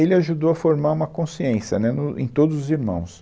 Ele ajudou a formar uma consciência, né, no, em todos os irmãos.